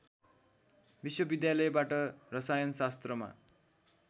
विश्वविद्यालयबाट रसायनशास्त्रमा